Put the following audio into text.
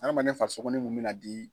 Adamaden farisogo ne kun mɛ n'a di